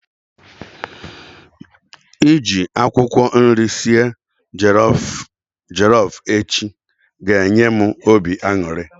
Iji akwụkwọ nri sie jollof echi ga enye m obi aṅụrị